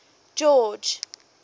george